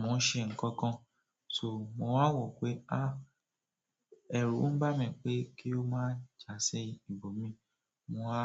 mò ń ṣe nǹkan kan, ṣò mo wá n wọ̀ pé a, ẹ̀rù ń bà mí pé kí ó má jásí ìbò mi, mò á.